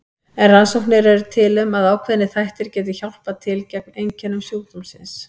En rannsóknir eru til um að ákveðnir þættir geti hjálpað til gegn einkennum sjúkdómsins.